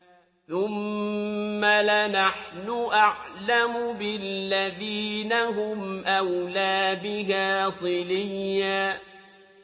ثُمَّ لَنَحْنُ أَعْلَمُ بِالَّذِينَ هُمْ أَوْلَىٰ بِهَا صِلِيًّا